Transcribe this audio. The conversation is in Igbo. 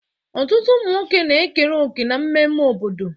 Ọtụtụ ụmụ nwoke na-ekere òkè na mmemme obodo.